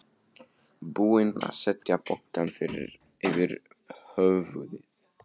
Búin að setja pokann yfir höfuðið.